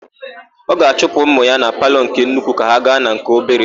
Ọ ga-achụpụ ụmụ ya na palọ nke nnukwu ka ha gaa na nke obere.